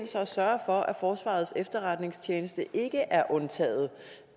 og at forsvarets efterretningstjeneste ikke er undtaget